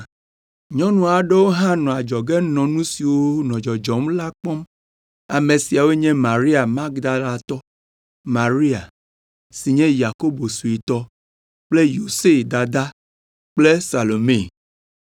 Nyɔnu aɖewo hã nɔ adzɔge nɔ nu siwo nɔ dzɔdzɔm la kpɔm. Ame siawo nye Maria Magdalatɔ, Maria, si nye Yakobo suetɔ kple Yose dada kple Salome.